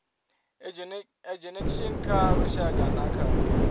ageinaction kha lushaka na kha